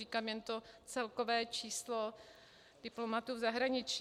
Říkám jen to celkové číslo diplomatů v zahraničí.